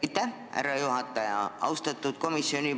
Aitäh, härra juhataja!